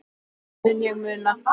Það mun ég muna.